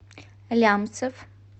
лямцев